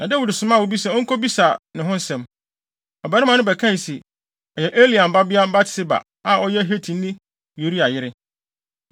na Dawid somaa obi sɛ onkobisa ne ho nsɛm. Ɔbarima no bɛkae se, “Ɛyɛ Eliam babea Batseba, a ɔyɛ Hetini Uria yere.”